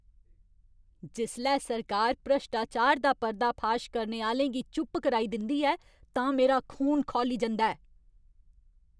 जिसलै सरकार भ्रश्टाचार दा पर्दाफाश करने आह्‌लें गी चुप कराई दिंदी ऐ तां मेरा खून खौली जंदा ऐ।